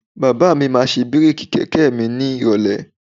Bàbá mi máa ṣe bíréèkì kẹ̀kẹ́ mi ni ìrọ̀lẹ́